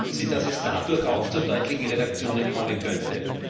Glauben Sie, dass es dadurch auch zu deutlichen Reduktionen kommen könnte?